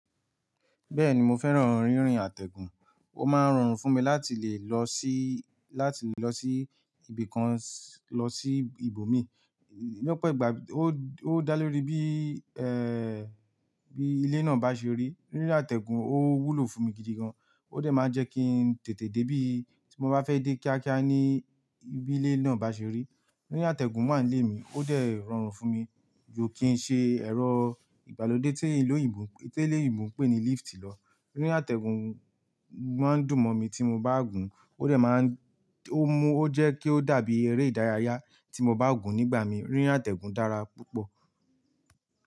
Bẹ́ẹ̀ni mo fẹ́ràn rírin àtẹ̀gùn, ó máa ń rọrùn fún mi láti lè lọ sí, láti lè lọ sí ibìkan lọ sí ibòmí lọ́pọ̀ ìgbà ó dá lórí bí, ẹ́ ẹ́ ẹ́ bí ilé náà bá ṣe rí. Rírìn àtẹ̀gùn ó wúlò fún mi gidi gan, ó dẹ̀ máa ń jẹ kin tètè dé bí tí mo bá fẹ́ dé kíákíá níbi ilé náà bá ṣe rí. Rírìn àtẹ̀gùn wà nílé mi, ó dẹ̀ rọrùn fún mi ju kin ṣe ẹ̀rọ ìgbàlódé tí eleyìnbó pé ní lift lọ. Rírìn àtẹ̀gùn máa ń dùn mọ́ mi tí mo bá gùn ó dẹ̀ má ń, ó mú ó jẹ́ kí ó dàbí eré ìdárayá tí mo bá gùn nígbà mí. Rírìn àtẹ̀gùn dára púpọ̀.